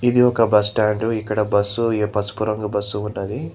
ఇది ఒక bus stand ఇక్కడ బస్సు ఏ పసుపు రంగు బస్సు ఉన్నది.